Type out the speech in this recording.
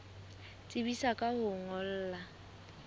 tsebisa ka ho o ngolla